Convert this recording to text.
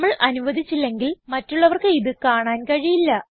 നമ്മൾ അനുവധിച്ചില്ലെങ്കിൽ മറ്റുള്ളവർക്ക് ഇത് കാണാൻ കഴിയില്ല